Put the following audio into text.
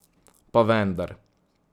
Pa vendar.